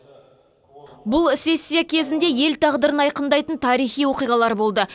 бұл сессия кезінде ел тағдырын айқындайтын тарихи оқиғалар болды